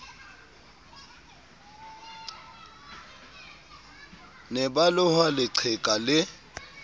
ne ba loha leqheka lee